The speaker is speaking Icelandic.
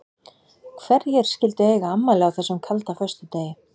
Hverjir skyldu eiga afmæli á þessum kalda föstudegi.